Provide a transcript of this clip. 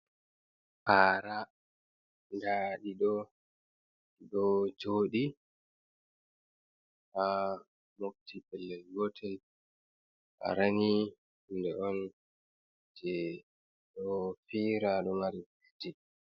Parà da ɗido jodi ha mobti pellel gotel para ni hunde on je ɗo pira ɗo mari bileji.